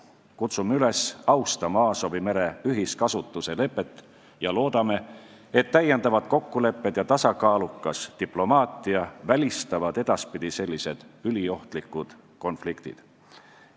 Kutsume üles austama Aasovi mere ühiskasutuse lepet ja loodame, et lisakokkulepped ja tasakaalukas diplomaatia välistavad edaspidi sellised üliohtlikud konfliktid.